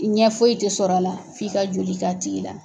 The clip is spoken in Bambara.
ɲɛ foyi tɛ sɔrɔ a la, f'i ka joli k'a tigi la.